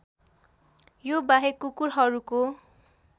यो बाहेक कुकुरहरूको